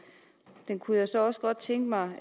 der kunne jeg så også godt tænke mig